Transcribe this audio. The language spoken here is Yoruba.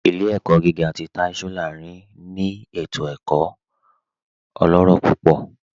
Ilẹ̀-ẹ̀kọ̀ gígà tì Táì Sọ́lárìn tì ẹ̀kọ̀ ètò ẹ̀kọ̀ ọlọ́rọ̀ púpọ̀